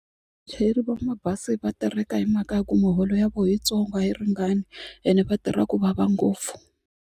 Vachayeri va mabazi va tireka hi mhaka ya ku miholo ya vona yitsongo a yi ringani ene va tirha ku vava ngopfu.